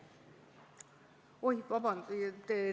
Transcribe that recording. Oi, vabandust!